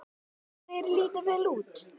Því þeir líta vel út?